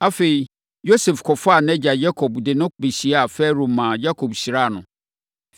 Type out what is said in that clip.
Afei, Yosef kɔfaa nʼagya Yakob de no bɛkyiaa Farao maa Yakob hyiraa no.